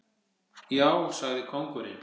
Já, sagði kóngurinn.